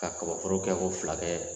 Ka kabaforo kɛ ko fila kɛ